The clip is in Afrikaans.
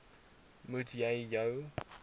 moet jy jou